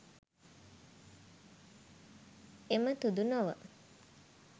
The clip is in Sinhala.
එමතුදු නොව,